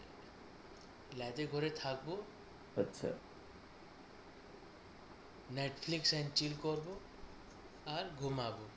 lab ঘরে থাকবো আচ্ছা netflix chill করব আর ঘুমাবো।